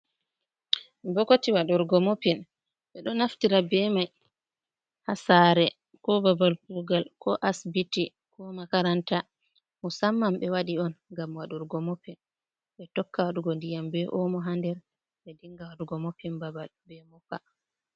Bokotiwa waɗurgo mopin, ɓe ɗo naftira be mai haa saare, ko babal kugal, ko asibiti, ko makaranta, musamman ɓe waɗi on ngam waɗurgo moppin, be tokka waɗugo ndiyam be omo haa nder, ɓe dinga wadugo moppin babal be moppa.